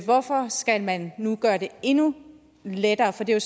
hvorfor skal man nu gøre det endnu lettere for det er